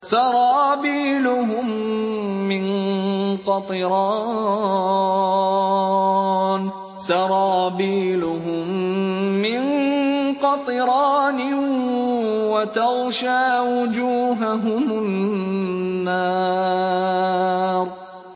سَرَابِيلُهُم مِّن قَطِرَانٍ وَتَغْشَىٰ وُجُوهَهُمُ النَّارُ